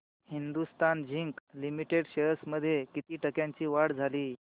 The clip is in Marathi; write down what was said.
हिंदुस्थान झिंक लिमिटेड शेअर्स मध्ये किती टक्क्यांची वाढ झाली